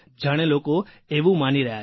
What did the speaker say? જાણે લોકો એવું માની રહ્યા છે